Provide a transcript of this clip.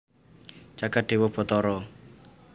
jagat dewa batara